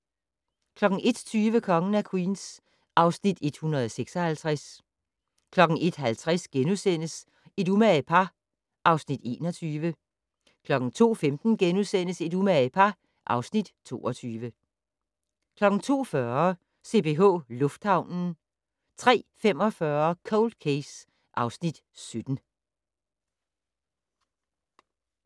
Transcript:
01:20: Kongen af Queens (Afs. 156) 01:50: Et umage par (Afs. 21)* 02:15: Et umage par (Afs. 22)* 02:40: CPH Lufthavnen 03:45: Cold Case (Afs. 17)